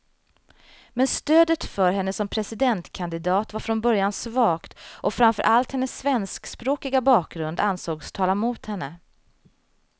Men stödet för henne som presidentkandidat var från början svagt, och framför allt hennes svenskspråkiga bakgrund ansågs tala mot henne.